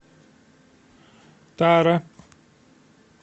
тара